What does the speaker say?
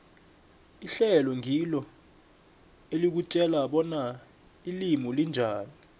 ihlelo ngilo elikutjela bona ilimi linjani